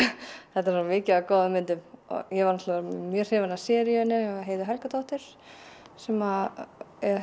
þetta er svo mikið af góðum myndum ég var náttúrulega mjög hrifin af seríunni hjá Heiðu Helgadóttur sem